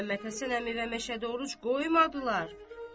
Məhəmmədhəsən əmi və Meşə Doruç qoymadılar.